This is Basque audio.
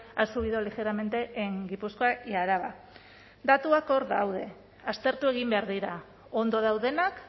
ha subido ligeramente en gipuzkoa y araba datuak hor daude aztertu egin behar dira ondo daudenak